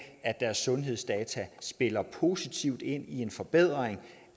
at deres sundhedsdata spiller positivt ind i en forbedring